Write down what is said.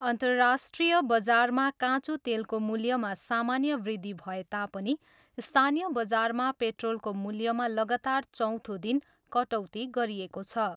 अन्तराष्ट्रिय बजारमा काँचो तेलको मूल्यमा सामान्य वृद्धि भए तापनि स्थानीय बजारमा पेट्रोलको मूल्यमा लागातार चौथो दिन कटौती गरिएको छ।